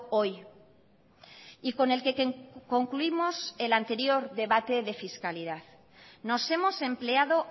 hoy y con el que concluimos el anterior debate de fiscalidad nos hemos empleado